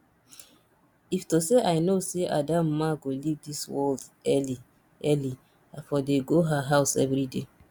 if to say i know say adamma go leave dis world early early i for dey go her house everyday